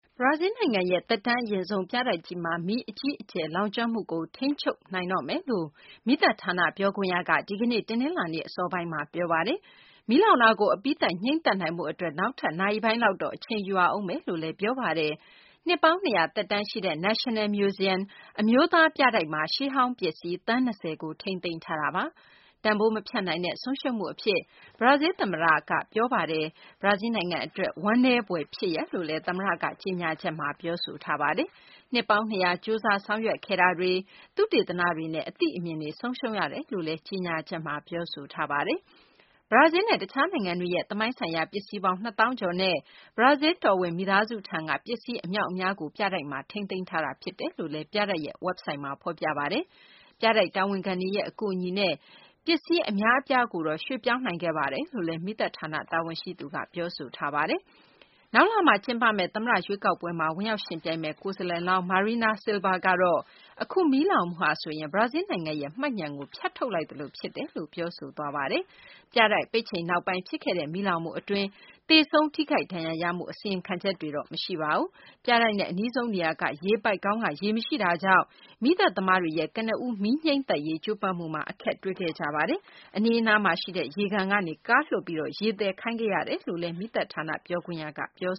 ဘရာဇီလ်းနိုင်ငံရဲ့ သက်တမ်းအရင့်ဆုံး ပြတိုက်ကြီးမှာ မီးအကြီးအကျယ် လောင်ကျွမ်းမှုကို ထိန်းချုပ်နိုင်တော့မယ်လို့ မီးသတ်ဌာန ပြောခွင့်ရက ဒီကနေ့ တနလာၤနေ့ အစောပိုင်းမှာ ပြောဆိုပါတယ်။ မီးလောင်တာကို အပြီးသတ် ငြှိမ်းသတ်နိုင်ဖို့ အတွက် နောက်ထပ် နာရီပိုင်းလောက် အချိန်ယူရဦးမယ်လို့လည်း Roberto Robadey က ပြောပါတယ်။ နှစ်ပေါင်း ၂၀၀ သက်တမ်းရှိတဲ့ National Museum - အမျိုးသား ပြတိုက်မှာ ရှေးဟောင်း ပစ္စည်း သန်း ၂၀ ကို ထိန်းသိမ်းထားတာပါ။ တန်ဖိုး မဖြတ်နိုင်တဲ့ ဆုံးရှုံးမှု အဖြစ် ဘရာဇီလ် သမ္မတ Michel Temer က ပြောပါတယ်။ ဘရာဇီလ်းနိုင်ငံ အတွက် ဝမ်းနည်းဖွယ် ဖြစ်ရပ် လို့လည်း သမ္မတက ကြေညာချက်ထဲမှာ ပြောဆိုထားပါတယ်။ နှစ်ပေါင်း ၂၀၀ ကြိုးစားဆောင်ရွက်ခဲ့တာတွေ၊ သုတေသနတွေနဲ့ အသိအမြင်တွေ ဆုံးရှုံးရတယ်လို့လည်း ပြောဆိုထားပတယ်။ ဘရာဇီးလ်နဲ့ တခြားနိုင်ငံတွေရဲ့ သမိုင်းဆိုင်းရာ ပစ္စည်းပေါင်း ၂ သောင်းကျော်နဲ့ ဘရာဇီးလ် တောင်ဝင်မိသားစုထံက ပစ္စည်း အမြောက်အများကို ပြတိုက်မှာ ထိန်းသိမ်းထားတာ ဖြစ်တယ်လို့လည်း ပြတိုက်ရဲ့ ဝက်ဘ်ဆိုဒ်မှာ ဖော်ပြပါတယ်။ ပြတိုက်တာဝန်ခံတွေရဲ့ အကူအညီနဲ့ ပြတိုက်ထဲက ပစ္စည်း အများအပြားကို ရွှေ့ပြောင်းနိုင်ခဲ့တယ်လို့လည်း မီးသတ်ဌာန တာဝန်ရှိသူက ပြောပါတယ်။ နောက်လ ကျင်းပမယ့် သမ္မတ ရွေးကောက်ပွဲမှာ ဝင်ရောက်ယှဉ်ပြိုင်မယ့် ကိုယ်စားလှယ်လောင်း Marina Silva ကတော့ အခု မီးလောင်မှုဟာဆိုရင် ဘရာဇီးလ်နိုင်ငံရဲ့ မှတ်ညဏ်ကို ဖြတ်ထုတ်လိုက်သလို ဖြစ်တယ်လို့ ပြောဆိုပါတယ်။ ပြတိုက် ပိတ်ချိန်နောက်ပိုင်း ဖြစ်ခဲ့တဲ့ မီးလောင်မှု အတွင်း သေဆုံး ထိခိုက်ဒဏ်ရာရမှု အစီရင်ခံချက်တွေ မရှိပါဘူး။ ပြတိုက်နဲ့ အနီးဆုံး နေရာက ရေပိုက်ခေါင်းက ရေမရှိတာကြောင့် မီးသတ်သမားတွေရဲ့ ကနဦး မီးငြှိမ်းသတ်နိုင်ရေး ကြိုးပမ်းမှုမှာ အခက်တွေ့ခဲ့ကြပါတယ်။ အနီးမှာရှိတဲ့ ရေကန်ကနေ ကားလွှတ်ပြီး ရေသယ်ခိုင်းခဲ့ရတယ်လို့ မီးသတ်ဌာန ပြောခွင့်ရက ပြော